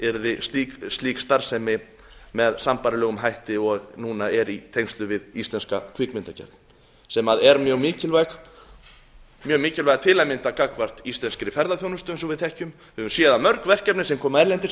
yrði slík starfsemi með sambærilegum hætti og núna er í tengslum við íslenska kvikmyndagerð sem er mjög mikilvæg til að mynda gagnvart íslenskri ferðaþjónustu eins og við þekkjum við höfum séð að mörg verkefni sem koma erlendis